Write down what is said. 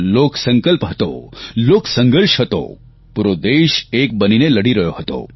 લોક સંકલ્પ હતો લોક સંઘર્ષ હતો પૂરો દેશ એક બનીને લડી રહ્યો હતો